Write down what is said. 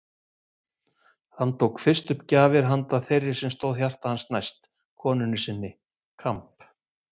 Hann tók fyrst upp gjafir handa þeirri sem stóð hjarta hans næst: konunni sinni: Kamb.